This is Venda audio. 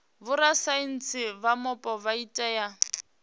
vhorasaintsi vha mupo vha tea